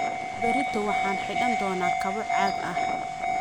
Berrito waxaan xidhan doonaa kabo caag ah